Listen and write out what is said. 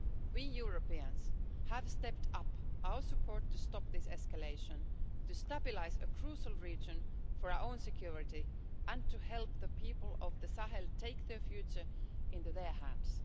We Europeans have stepped up our support to stop this escalation, to stabilise a crucial region for our own security and to help the people of the Sahel take their future into their hands.